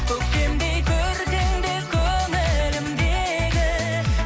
көктемдей көркіңде көңілімдегі